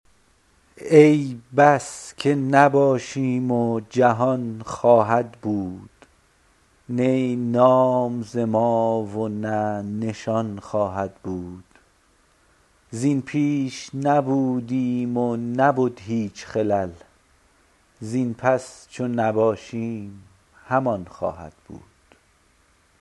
ای بس که نباشیم و جهان خواهد بود نی نام ز ما و نه نشان خواهد بود زین پیش نبودیم و نبد هیچ خلل زین پس چو نباشیم همان خواهد بود